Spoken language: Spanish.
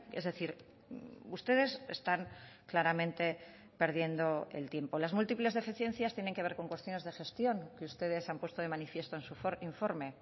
es decir ustedes están claramente perdiendo el tiempo las múltiples deficiencias tienen que ver con cuestiones de gestión que ustedes han puesto de manifiesto en su informe